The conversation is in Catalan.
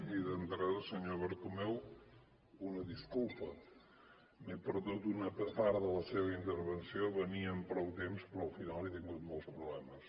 i d’entrada senyor bertomeu una disculpa m’he perdut una part de la seva intervenció venia amb prou temps però al final he tingut molts problemes